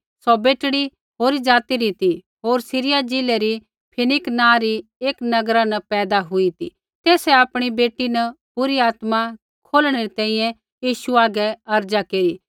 सौ बेटड़ी होरी ज़ाति री ती होर सीरिया ज़िला री फिनीकि नाँ री नगरा न पैदा हुई ती तेसै आपणी बेटी न बुरी आत्मा खोलणै री तैंईंयैं यीशु हागै अर्ज़ा केरी